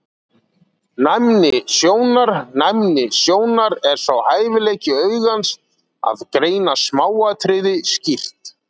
Næmni sjónar Næmni sjónar er sá hæfileiki augans að greina smáatriði skýrt.